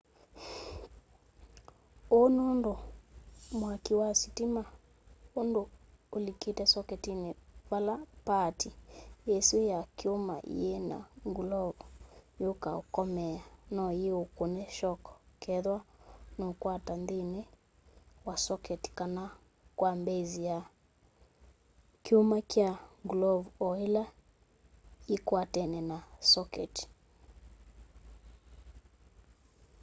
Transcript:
uu nundu mwaki wa sitima undu ulikite soketini vala paati isu ya kyuma yii na ngulovu yukaa ukomeea no yiukune shoko kethwa nuukwata nthini wa soketi kana kwa base ya kyuma kya ngulovu o ila yikwatene na soketi